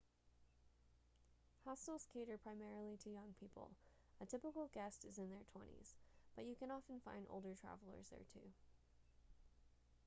hostels cater primarily to young people a typical guest is in their twenties but you can often find older travellers there too